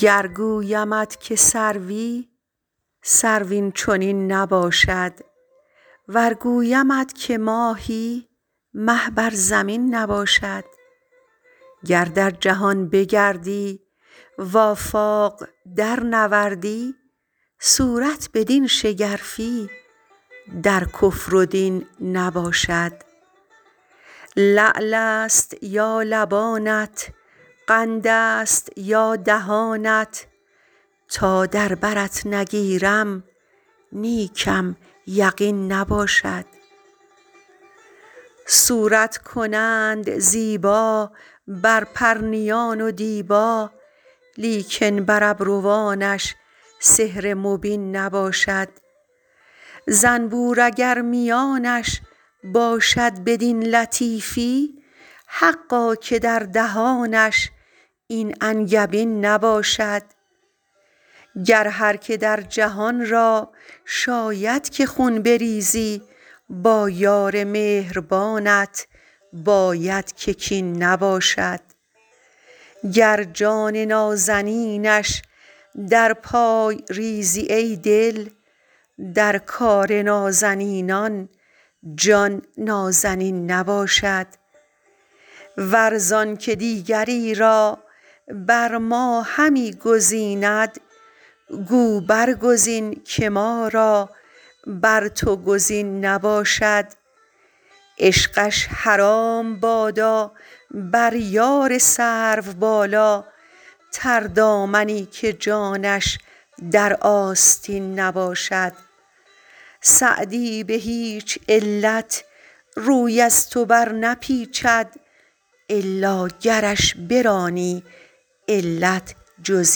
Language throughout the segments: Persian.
گر گویمت که سروی سرو این چنین نباشد ور گویمت که ماهی مه بر زمین نباشد گر در جهان بگردی و آفاق درنوردی صورت بدین شگرفی در کفر و دین نباشد لعل است یا لبانت قند است یا دهانت تا در برت نگیرم نیکم یقین نباشد صورت کنند زیبا بر پرنیان و دیبا لیکن بر ابروانش سحر مبین نباشد زنبور اگر میانش باشد بدین لطیفی حقا که در دهانش این انگبین نباشد گر هر که در جهان را شاید که خون بریزی با یار مهربانت باید که کین نباشد گر جان نازنینش در پای ریزی ای دل در کار نازنینان جان نازنین نباشد ور زان که دیگری را بر ما همی گزیند گو برگزین که ما را بر تو گزین نباشد عشقش حرام بادا بر یار سروبالا تردامنی که جانش در آستین نباشد سعدی به هیچ علت روی از تو برنپیچد الا گرش برانی علت جز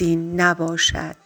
این نباشد